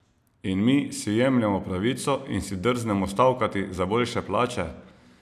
In mi si jemljemo pravico in si drznemo stavkati za boljše plače?